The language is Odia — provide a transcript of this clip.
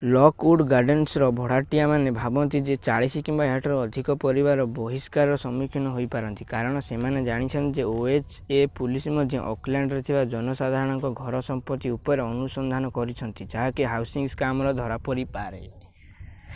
ଲକ୍ଉଡ୍ ଗାର୍ଡେନ୍ସର ଭଡ଼ାଟିଆମାନେ ଭାବନ୍ତି ଯେ 40 କିମ୍ବା ଏହାଠାରୁ ଅଧିକ ପରିବାର ବହିଷ୍କାରର ସମ୍ମୁଖୀନ ହୋଇ ପାରନ୍ତି କାରଣ ସେମାନେ ଜାଣିଛନ୍ତି ଯେ ଓଏଚ୍ ଏ ପୋଲିସ୍ ମଧ୍ୟ ଓକଲ୍ୟାଣ୍ଡରେ ଥିବା ଜନସାଧାରଣଙ୍କ ଘର ସମ୍ପତ୍ତି ଉପରେ ଅନୁସନ୍ଧାନ କରୁଛନ୍ତି ଯାହା ହାଉସିଂ ସ୍କାମରେ ଧରା ପରିପାରେ